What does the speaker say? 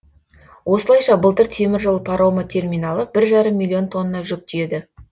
осылайша былтыр теміржол паромы терминалы бір жарым миллион тонна жүк тиеді